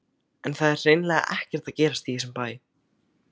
En það er hreinlega ekkert að gerast í þessum bæ.